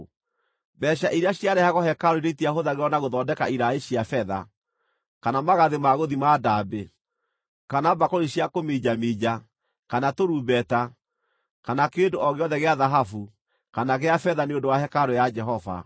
Mbeeca iria ciarehagwo hekarũ-inĩ itiahũthagĩrwo na gũthondeka iraĩ cia betha, kana magathĩ ma gũthima ndaambĩ, kana mbakũri cia kũminjaminja, kana tũrumbeta, kana kĩndũ o gĩothe gĩa thahabu kana gĩa betha nĩ ũndũ wa hekarũ ya Jehova.